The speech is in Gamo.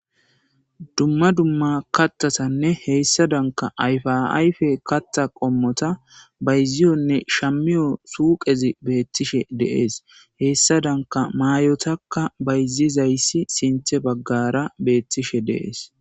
dumma dumma kattasanne heyssa danka ayfaayfe katta qommota bayziyonne shammiyo suuqezi beettishe deees heyssa danka maayotakka bayzizayssi sinthe baggara beettishe deees